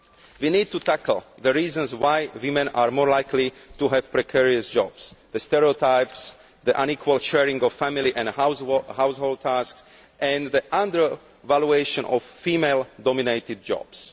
We need to tackle the reasons why women are more likely to have precarious jobs the stereotypes, the unequal sharing of family and household tasks, and the undervaluation of female dominated jobs.